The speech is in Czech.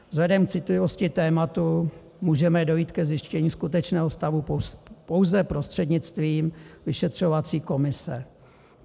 Vzhledem k citlivosti tématu můžeme dojít ke zjištění skutečného stavu pouze prostřednictvím vyšetřovací komise.